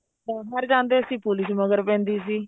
ਬਾਹਰ ਜਾਂਦੇ ਸੀ police ਮਗਰ ਪੈਂਦੀ ਸੀ